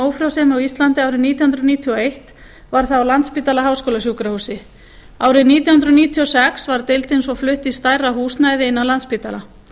ófrjósemi á íslandi árið nítján hundruð níutíu og eitt var það á landspítala háskólasjúkrahúsi árið nítján hundruð níutíu og sex var deildin svo flutt í stærra húsnæði inni á landspítala